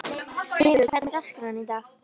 Vigur, hvernig er dagskráin í dag?